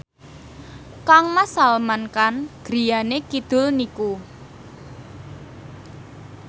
kangmas Salman Khan griyane kidul niku